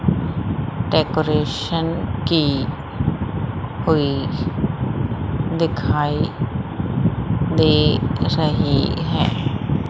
Decoration की हुई दिखाई दे रही है।